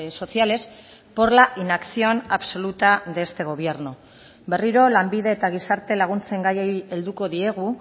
sociales por la inacción absoluta de este gobierno berriro lanbide eta gizarte laguntzen gaiei helduko diegu